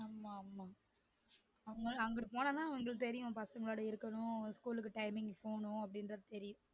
ஆமா ஆமா அங்க~ அங்குட்டு போன தான் அவங்களுக்கு தெரியும் பசங்களோட இருக்கணும் ஸ்கூல்க்கு timing க்கு போனும் இருக்கும் அப்டிங்குறது தெரியும்